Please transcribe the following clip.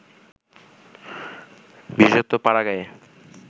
বিশেষতঃ পাড়াগাঁয়ে